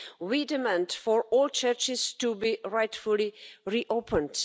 We demand for all churches to be rightfully re opened.